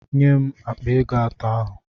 Nye m akpa ego atọ ahu!